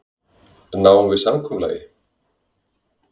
Náum við samkomulagi?